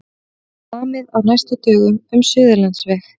Samið á næstu dögum um Suðurlandsveg